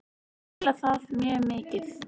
Mörk komin í sex þeirra